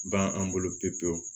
Ban an bolo pepewu